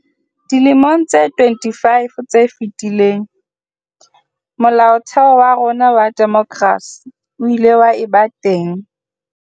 Dilemong tse 25 tse fetileng, Molaotheo wa rona wa demokrasi o ile wa eba teng.